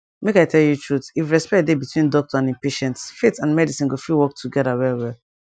make i tell you truth if respect dey between doctor and him patients faith and medicine go fit work together well well